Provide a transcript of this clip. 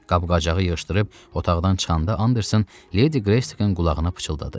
Qab-qacağı yığışdırıb otaqdan çıxanda Anderson Ledi Greysikin qulağına pıçıldadı.